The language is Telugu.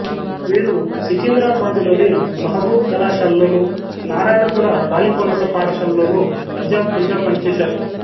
వీరు సికింద్రాబాదులోని మహబూబు కళాశాలలోను నారాయణగూడ బాలికోన్నత పాఠశాలలోను అధ్యాపకులుగా పనిచేశారు